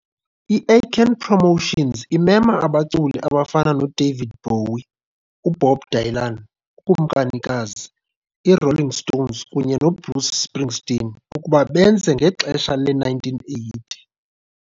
I-Aiken Promotions imema abaculi abafana noDavid Bowie, uBob Dylan, uKumkanikazi, i-Rolling Stones, kunye noBruce Springsteen ukuba benze ngexesha le-1980.